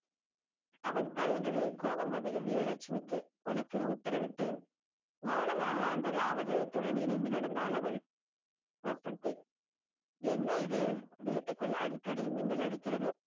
அவள் தயங்கவே கோபம் வந்தது வீரலட்சுமிக்கு உனக்கு உத்தரவிட்டேன் மௌனமாக அந்த ராமஜெயத்துடன் இணைந்து நடந்தாள் அவள் வசந்தி என்ன இது வீட்டுக்குள் அடிக்கடி மின்னல் அடிக்கிறது